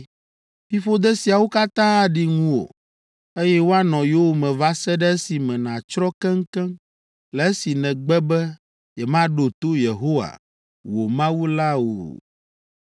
“Fiƒode siawo katã aɖi ŋuwò, eye woanɔ yowòme va se ɖe esime nàtsrɔ̃ keŋkeŋ le esi nègbe be yemaɖo to Yehowa, wò Mawu o la ta.